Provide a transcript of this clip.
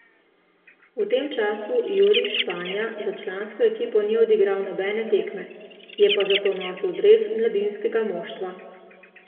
V tem času Jurij Španja za člansko ekipo ni odigral nobene tekme, je pa zato nosil dres mladinskega moštva.